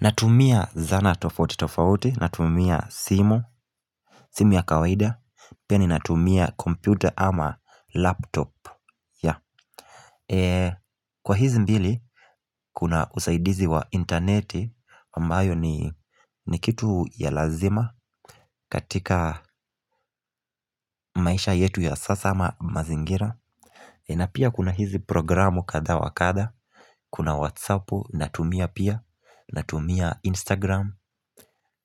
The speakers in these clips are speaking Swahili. Natumia zana tofauti tofauti, natumia simu, simu ya kawaida, pia ninatumia komputa ama laptop Kwa hizi mbili, kuna usaidizi wa interneti, ambayo ni ni kitu ya lazima katika maisha yetu ya sasa ama mazingira na pia kuna hizi programu kadha wa kadha Kuna Whatsappu, natumia pia Natumia Instagram,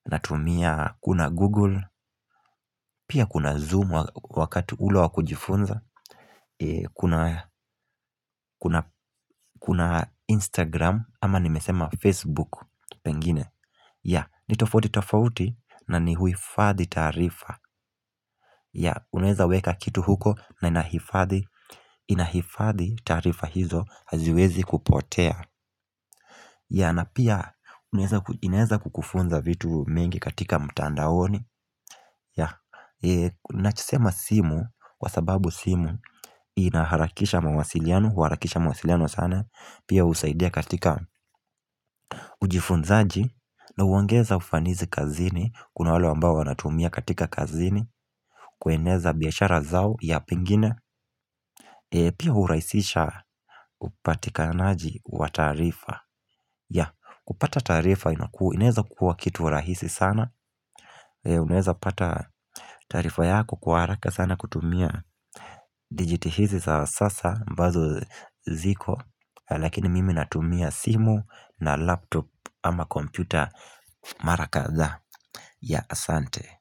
natumia kuna Google Pia kuna Zoom wakati ule wa kujifunza Kuna Instagram ama nimesema Facebook Pengine ya, ni tofauti tofauti na ni huifadhi taarifa ya, unaweza weka kitu huko na inahifadhi inahifadhi taarifa hizo haziwezi kupotea ya na pia inaeza kukufunza vitu mingi katika mtandaoni ya ninachosema simu Kwa sababu simu inaharakisha mawasiliano Huharakisha mawasiliano sana Pia husaidia katika ujifunzaji na huongeza ufanisi kazini Kuna wale ambao wanatumia katika kazini kueneza biashara zao ya pengine Pia hurahisisha upatikanaji wa tarifa ya kupata taarifa inaweza kuwa kitu rahisi sana inaweza pata taarifa yako kwa haraka sana kutumia digitihizi za sasa ambazo ziko Lakini mimi natumia simu na laptop ama kompyuta mara kadhaa ya asante.